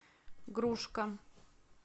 грушка